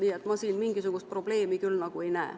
Nii et ma siin mingisugust probleemi küll ei näe.